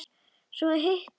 Svo hitaði hún kakó.